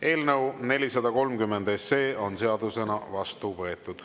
Eelnõu 430 on seadusena vastu võetud.